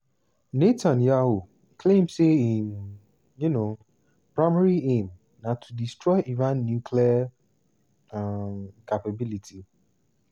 netanyahu claim say im um primary aim na to destroy iran nuclear um capability.